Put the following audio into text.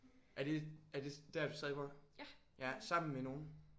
Er det er det der du stadig bor? Ja sammen med nogen?